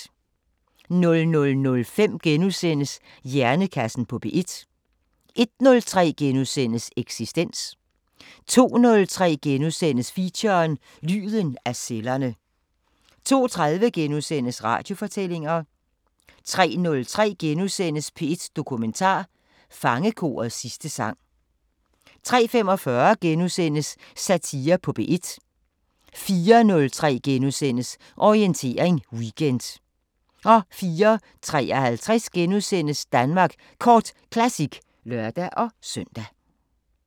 00:05: Hjernekassen på P1 * 01:03: Eksistens * 02:03: Feature: Lyden af cellerne * 02:30: Radiofortællinger * 03:03: P1 Dokumentar: Fangekorets sidste sang * 03:45: Satire på P1 * 04:03: Orientering Weekend * 04:53: Danmark Kort Classic *(lør-søn)